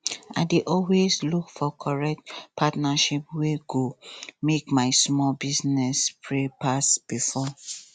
i dey always look for correct partnership wey go make my small business spread pass before